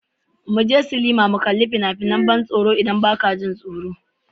Mu je sinima mu kalli wasu fina-finan ban tsoro idan ba ka ji tsoro ba.